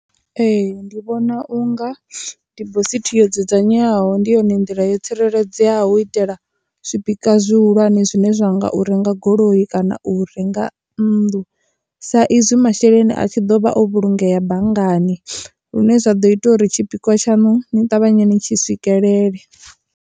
Ee, ndi vhona unga dibosithi yo dzudzanywaho ndi yone nḓila yo tsireledzeaho u itela zwibika zwihulwane zwine zwa nga u renga goloi kana u u renga nnḓu sa izwi masheleni a tshi ḓo vha o vhulungeya banngani lune zwa ḓo ita uri tshipikwa tshanu ni ṱavhanye ni tshi swikelele.